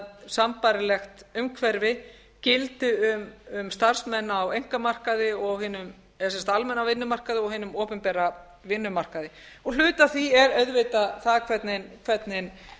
sambærilegt umhverfi gildi um starfsmenn á einkamarkaði sem sagt hinum almenna vinnumarkaði og hinum opinbera vinnumarkaði hluti af því er auðvitað það hvernig